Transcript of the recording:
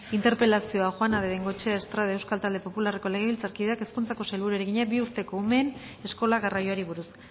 interpelazioa juana de bengoechea estrade euskal talde popularreko legebiltzarkideak hezkuntzako sailburuari egina bi urteko umeen eskola garraioari buruz